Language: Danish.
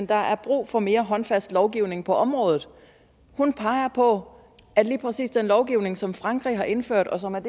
der er brug for mere håndfast lovgivning på området hun peger på at lige præcis den lovgivning som frankrig har indført og som er